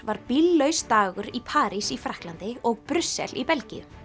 var bíllaus dagur í París í Frakklandi og Brussel í Belgíu